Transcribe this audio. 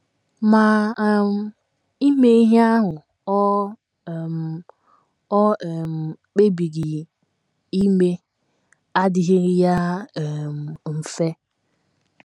Ma, um ime ihe ahụ o um o um kpebiri ime adịghịrị ya um mfe.